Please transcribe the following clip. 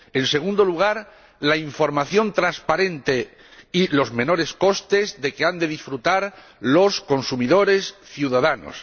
en segundo lugar, la información transparente y los menores costes de los que han de disfrutar los consumidores ciudadanos